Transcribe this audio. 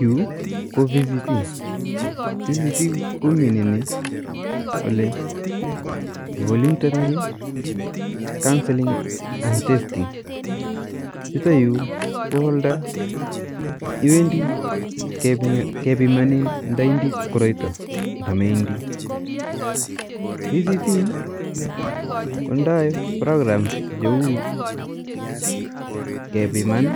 Yuu ko vct ,vct ko mineni voluntary counseling and testing, yutayu ko oldo iwendi kepimanin nda indii koroito nda meindii ,vct kondai prokram che u kepiman